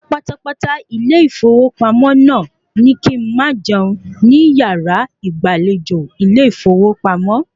Ọ̀gá pátápátá ilé ìfowópamọ́ naa ní kí n̄ ma jẹun ni yàrá ìgbàlejò ilé ìfowópamọ́